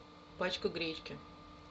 пачку гречки